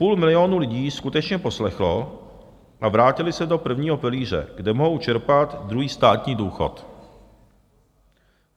Půl milionu lidí skutečně poslechlo a vrátilo se do prvního pilíře, kde mohou čerpat druhý státní důchod.